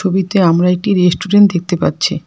ছবিতে আমরা একটি রেস্টুরেন্ট দেখতে পাচ্ছি।